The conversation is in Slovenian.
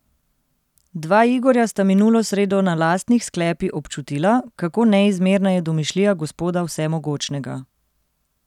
Dva Igorja sta minulo sredo na lastnih sklepi občutila, kako neizmerna je domišljija Gospoda vsemogočnega.